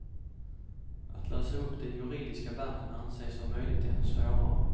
Att lösa upp de juridiska banden anses om möjligt ännu svårare.